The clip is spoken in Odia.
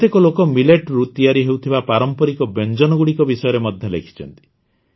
କେତେକ ଲୋକ Milletରୁ ତିଆରି ହେଉଥିବା ପାରମ୍ପରିକ ବ୍ୟଞ୍ଜନଗୁଡ଼ିକ ବିଷୟରେ ମଧ୍ୟ ଲେଖିଛନ୍ତି